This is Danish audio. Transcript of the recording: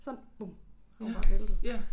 Sådan og hun bare væltet